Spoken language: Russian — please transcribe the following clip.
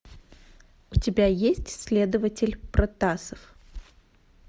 у тебя есть следователь протасов